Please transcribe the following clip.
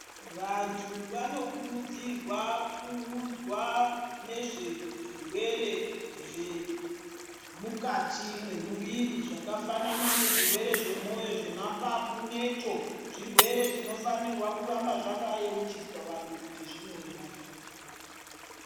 Vantu vanokurudzirwa kuudzwa nezvezvirwere zvemukati mwemuviri zvakafanana nezvirwere zvemoyo, zvemapapu netsvo. Zvirwere zvinofanirwa kuramba zvakayeuchidzwa vanhu kuti zvinouraya.